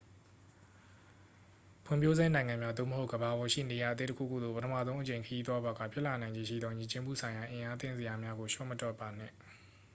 ဖွံ့ဖြိုးဆဲနိုင်ငံများ သို့မဟုတ် ကမ္ဘာပေါ်ရှိနေရာအသစ်တခုခုသို့ ပထမဆုံးအကြိမ်ခရီးသွားပါက ဖြစ်လာနိုင်ခြေရှိသော ယဉ်ကျေးမှုဆိုင်ရာအံ့အားသင့်စရာများကို လျှော့မတွက်ပါနှင့်